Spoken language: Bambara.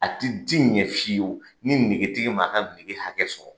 A ti ti ɲɛ fyewu ni negetigi ma a ka nege hakɛ sɔrɔ